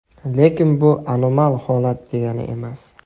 Lekin bu anomal holat degani emas.